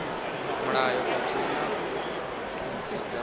mulayo khathihi na notsi dza